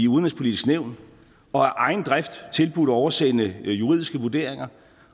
udenrigspolitiske nævn og af egen drift tilbudt at oversende juridiske vurderinger